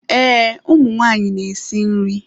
Ee, ụmụ nwanyị na-esi nri.